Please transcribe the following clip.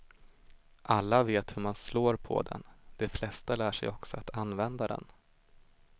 Alla vet hur man slår på den, de flesta lär sig också att använda den.